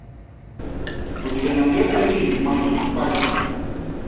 у тебя найдется фильм мальчик с пальчик